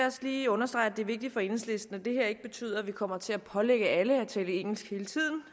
også lige understrege at det er vigtigt for enhedslisten at det her ikke betyder at vi kommer til at pålægge alle at tale engelsk hele tiden